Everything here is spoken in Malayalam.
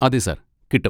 അതെ സാർ കിട്ടും.